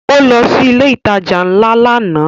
Ó lọ sí ilé ìtajà ńlá lánàá